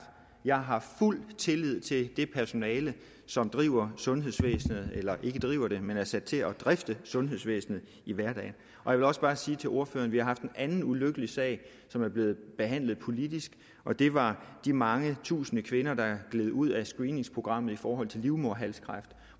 jeg har fuld tillid til det personale som driver sundhedsvæsenet eller ikke driver det men er sat til at drifte sundhedsvæsenet i hverdagen jeg vil også bare sige til ordføreren at vi haft en anden ulykkelig sag som er blevet behandlet politisk og det var de mange tusinde kvinder der gled ud af screeningsprogrammet i forhold til livmoderhalskræft